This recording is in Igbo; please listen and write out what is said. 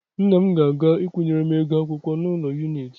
Nna m ga-aga ịkwụnyere m ego akwụkwọ n'ụlọakụ Yuniti.